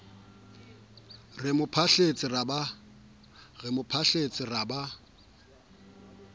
re mo phahletse ra ba